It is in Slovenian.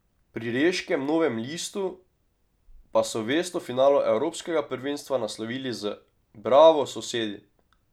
Pri reškem Novem listu pa so vest o finalu evropskega prvenstva naslovili z: "Bravo, sosedi!